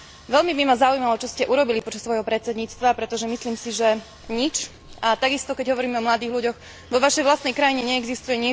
Veľmi by ma zaujímalo, čo ste urobili počas svojho predsedníctva, pretože myslím si, že nič, a takisto, keď hovoríme o mladých ľuďoch, vo vašej vlastnej krajine neexistuje